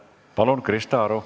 Palun, Krista Aru!